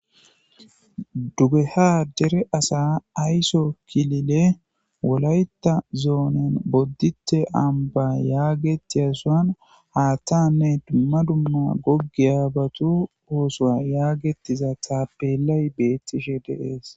Duugeha deera asa aysso kiililen wolayyita zonnen bodditta ammbba yaggetiyason haththanne dumma dumma goggiyabatu osso yagetiza tappelay bettishe de'es.